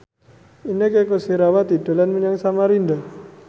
Inneke Koesherawati dolan menyang Samarinda